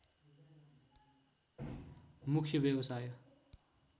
मुख्य व्यवसाय